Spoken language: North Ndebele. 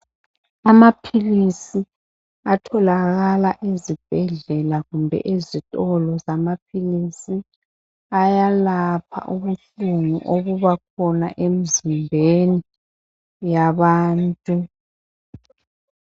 Amaphilisi atholakala ezibhedlela kumbe ezitolo zamaphilisi ayalapha ubuhlungu obubakhona emzimbeni yabantu.